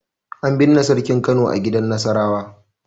An binne Sarkin Kano a gidan Nasarawa.